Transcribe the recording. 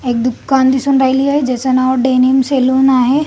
'' एक दुकान दिसून राहिलेल आहे ज्याच नाव डेनील सलून आहे. ''